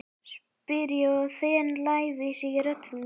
spyr ég og þen lævísi í rödd mína.